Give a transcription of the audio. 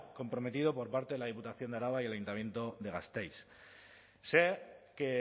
comprometido por parte de la diputación de araba y el ayuntamiento de gasteiz sé que